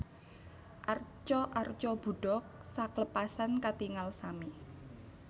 Arca arca Budha sakeplasan katingal sami